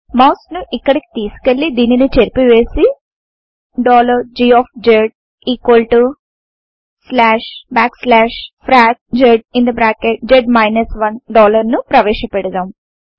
mouse ను ఇక్కడికి తీసుకెళ్ళి దీనిని చెరిపి వేసి G frac zz 1 ను ప్రవేశ పెడుదాం